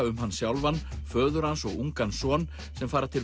um hann sjálfan föður hans og ungan son sem fara til